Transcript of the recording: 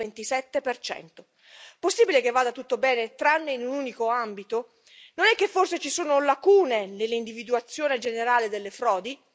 227 Possibile che vada tutto bene, tranne in un unico ambito? Non è che forse ci sono lacune nell'individuazione generale delle frodi?